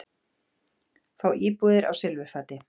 Fá íbúðir á silfurfati